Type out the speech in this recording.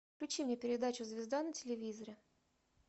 включи мне передачу звезда на телевизоре